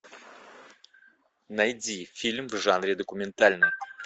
найди фильм в жанре документальный